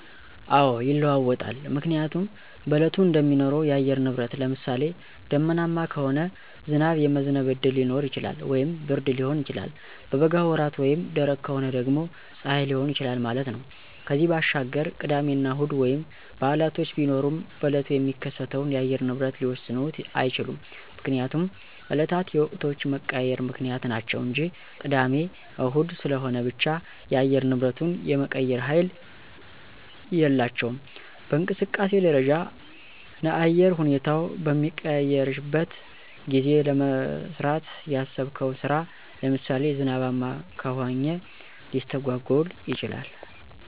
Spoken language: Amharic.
አዎ ይለዋወጣል ምክንያቱም በእለቱ እንደሚኖረው የአየር ንብረት ለምሳሌ :- ደመናማ ከሆነ ዝናብ የመዝነብ እድል ሊኖረው ይችላል ወይም ብርድ ሊሆን ይችላል። በበጋ ወራት ወይም ደረቅ ከሆነ ደግሞ ፀሐይ ሊሆን ይችላል ማለት ነው። ከዚያ ባሻገር ቅዳሜና እሁድ ወይም በዓላቶች ቢሆኑም በእለቱ የሚከሰተውን የአየር ንብረት ሊወስኑት አይችሉም። ምክንያቱም እለታት የወቅቶች መቀያየር ምክንያት ናቸው እንጂ ቅዳሜ እሁድ ስለሆነ ብቻ የአየር ንብረቱን የመቀየር ሀይል የላቸውም። በእንቅስቃሴ ደረጃ ነአየር ሁኔታው በሚቀያየረሸበት ጊዜ ለመስራት ያሰብከው ስራ ለምሳሌ ዝናባማ ከሆኘ ሊስተጓጎል ይችላል።